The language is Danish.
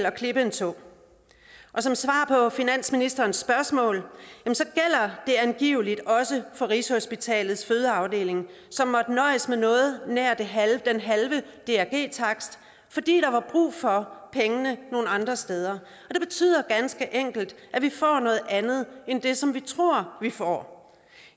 og klippe en tå som svar på finansministerens spørgsmål gælder det angiveligt også for rigshospitalets fødeafdeling som måtte nøjes med noget nær den halve drg takst fordi der var brug for pengene nogle andre steder det betyder ganske enkelt at vi får noget andet end det som vi tror vi får